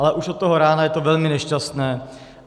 Ale už od toho rána je to velmi nešťastné.